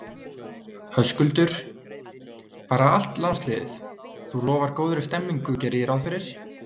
Höskuldur: Bara allt landsliðið, þú lofar góðri stemmningu geri ég ráð fyrir?